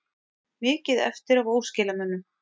Mikið eftir af óskilamunum